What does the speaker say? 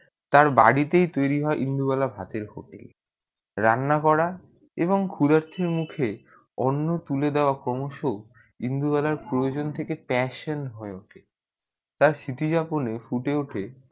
তার বাড়িতে তৈরি হয়ে ইন্দুবালা ভাতের hotel রান্না করা এবং খুদেটির মুখে অন্ন তুলে দেওয়া ক্রমশ ইন্দুবালা প্রয়োজন থেকে হয়ে passion উঠে তার সিটিজ পেলে ফুলে উঠে